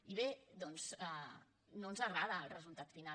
i bé doncs no ens agrada el resultat final